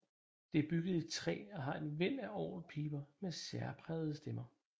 Det er bygget i træ og har et væld af orgelpiber med særprægede stemmer